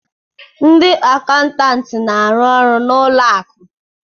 Ndị akaụntantị na-arụ ọrụ na ụlọ akụ